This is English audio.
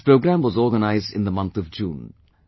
This programme was organized in the month of June